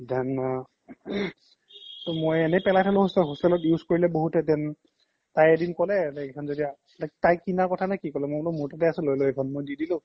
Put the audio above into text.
then আ মই এনে পেলাই থ্লো hostel তে hostel ত use কৰিলে বহুতে then তাই এদিন ক্'লে like তাই কিনা কথা নে কি ক্'লে মোৰ তাতে আছে লই ল এখন